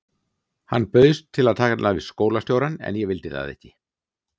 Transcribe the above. Hann bauðst til að tala við skólastjórann en ég vildi það ekki.